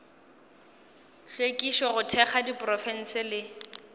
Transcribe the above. hlwekišo go thekga diprofense le